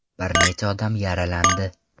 Bir necha odam yaralandi.